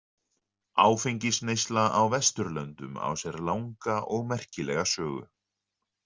Áfengisneysla á Vesturlöndum á sér langa og merkilega sögu.